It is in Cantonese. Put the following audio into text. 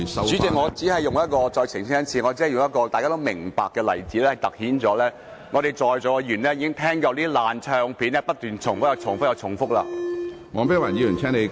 主席，我再次澄清，我只是用一個大家都明白的例子，凸顯在座議員已聽夠了像"爛唱片"般不斷重複的發言。